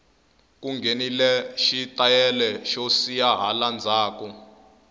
ku nghenile xi tayele xo siya hala ndzhaku